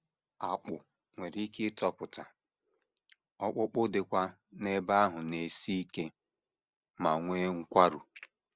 Akpụ̀ nwere ike itopụta, ọkpụkpụ dịkwa n’ebe ahụ na - esi ike ma nwee nkwarụ.